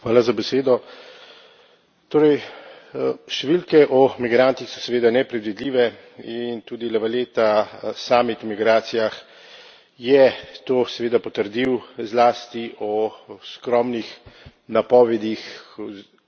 Številke o migrantih so seveda nepredvidljive in tudi La Valetta o samih migracijah je to seveda potrdil, zlasti o skromnih napovedih oziroma nejasnih številkah, kaj se bo dogajalo v prihodnje.